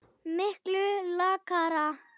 Miklu lakara.